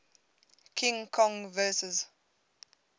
king kong vs